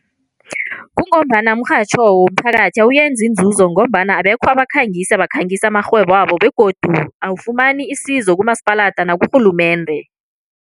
Kungombana umrhatjho womphakathi awuyenzi iinzuzo ngombana abekho abakhangisi abakhangisa amarhwebabo begodu awufumani isizo kumasipalata nakurhulumende.